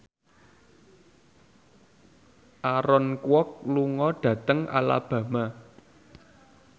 Aaron Kwok lunga dhateng Alabama